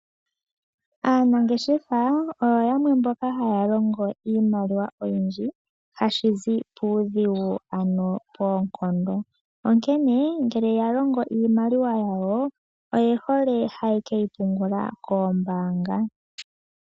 Aanangeshefa oyo yamwe mboka haya longo iimaliwa oyindji, hashi zi puudhigu ano poonkondo. Onkene ngele ya longo iimaliwa yawo, oye hole haye keyi pungula koombaanga.